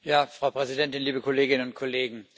Frau Präsidentin, liebe Kolleginnen und Kollegen!